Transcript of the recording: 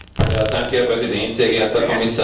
Herr Präsident, sehr geehrter Herr Kommissar!